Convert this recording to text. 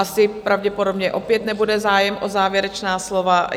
Asi pravděpodobně opět nebude zájem o závěrečná slova?